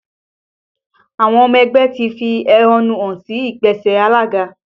Àwọn ọmọ ẹgbẹ́ ń fi ẹ́hónú hàn sí ìgbésẹ̀ alága